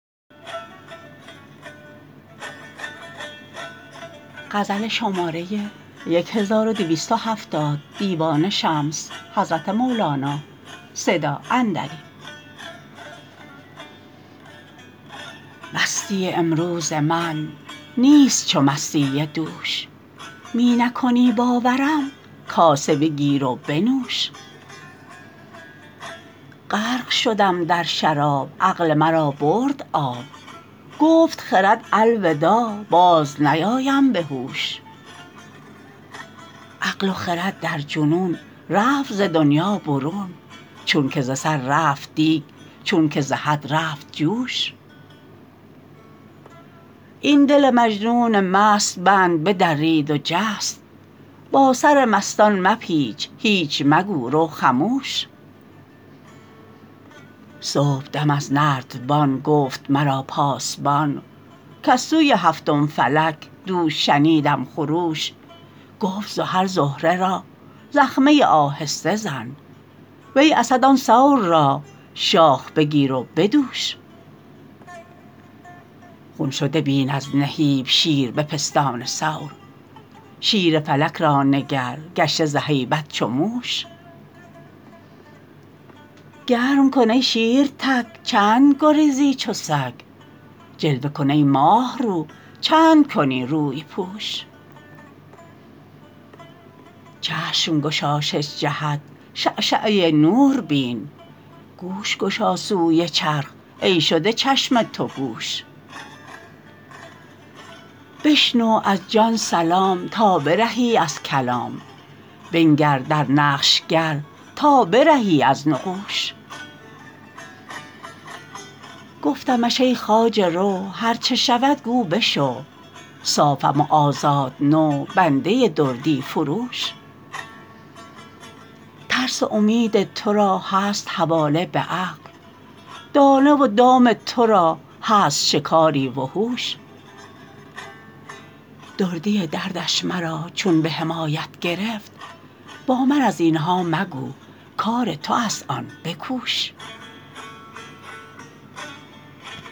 مستی امروز من نیست چو مستی دوش می نکنی باورم کاسه بگیر و بنوش غرق شدم در شراب عقل مرا برد آب گفت خرد الوداع بازنیایم به هوش عقل و خرد در جنون رفت ز دنیا برون چونک ز سر رفت دیگ چونک ز حد رفت جوش این دل مجنون مست بند بدرید و جست با سرمستان مپیچ هیچ مگو رو خموش صبحدم از نردبان گفت مرا پاسبان کز سوی هفتم فلک دوش شنیدم خروش گفت زحل زهره را زخمه آهسته زن وی اسد آن ثور را شاخ بگیر و بدوش خون شده بین از نهیب شیر به پستان ثور شیر فلک را نگر گشته ز هیبت چو موش گرم کن ای شیر تک چند گریزی چو سگ جلوه کن ای ماه رو چند کنی روی پوش چشم گشا شش جهت شعشعه نور بین گوش گشا سوی چرخ ای شده چشم تو گوش بشنو از جان سلام تا برهی از کلام بنگر در نقش گر تا برهی از نقوش گفتمش ای خواجه رو هر چه شود گو بشو صافم و آزاد نو بنده دردی فروش ترس و امید تو را هست حواله به عقل دانه و دام تو را هست شکاری وحوش دردی دردش مرا چون به حمایت گرفت با من از این ها مگو کار تو است آن بکوش